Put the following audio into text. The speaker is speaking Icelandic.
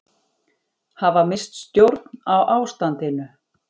Hafa misst stjórn á ástandinu